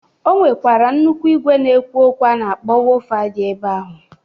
O nwekwara nnụkwụ igwe na-ekwu okwu a na-akpọ wofa dị ebe ahụ.